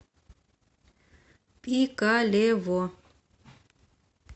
пикалево